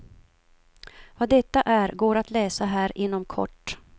Vad detta är går att läsa här inom kort.